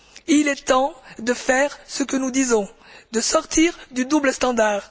Il est temps de faire ce que nous disons, de sortir du double standard.